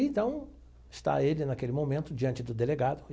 Então, está ele naquele momento diante do delegado.